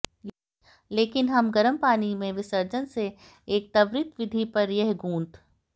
लेकिन हम गर्म पानी में विसर्जन से एक त्वरित विधि पर यह गूंथ